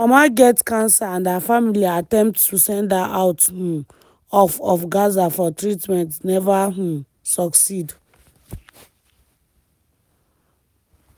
her mama get cancer and her family attempts to send her out um of of gaza for treatment never um succeed.